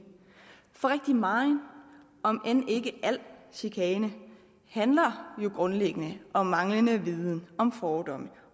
for rigtig megen om end ikke al chikane handler jo grundlæggende om manglende viden om fordomme